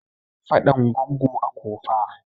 Faɗan Goggo a Kofa.